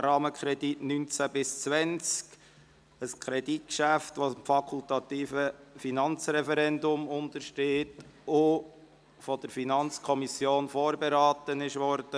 Rahmenkredit 2019–2020», ein Kreditgeschäft, welches dem fakultativen Finanzreferendum unterliegt und von der FiKo vorberaten wurde.